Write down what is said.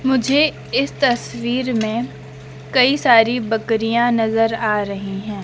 मुझे इस तस्वीर में कई सारी बकरियां नजर आ रही हैं।